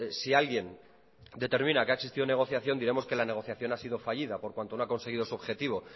si alguien determina que ha existido negociación diremos que la negociación ha sido fallida por cuanto no ha conseguido su objetivo